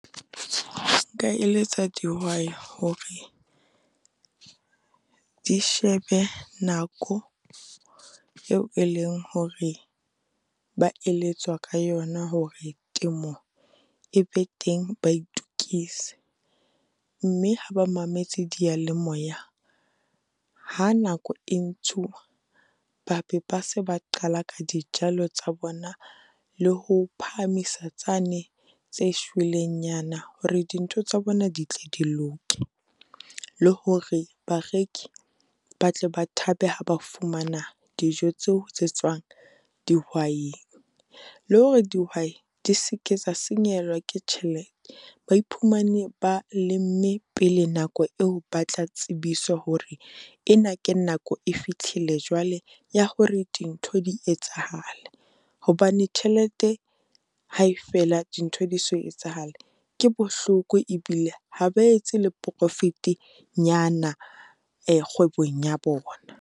Nka eletsa dihwai hore di shebe nako eo e leng hore ba eletswa ka yona hore temo e be teng, ba itokise. Mme ha ba mametse diyalemoya, ha nako e ntshuwa, ba be ba se ba qala ka dijalo tsa bona le ho phahamisa tsane tse shwelengnyana, hore dintho tsa bona di tle di loke. Le hore bareki ba tle ba thabe ha ba fumana dijo tseo tse tswang dihwaing. Le hore dihwai di seke tsa senyehelwa ke tjhelete, ba iphumane ba lemme pele nako eo ba tla tsebisa hore ena ke nako e fitlhile jwale ya hore dintho di etsahale. Hobane tjhelete ha e fela dintho di so etsahale, ke bohloko e bile ha ba etse le profit-nyana kgwebong ya bona.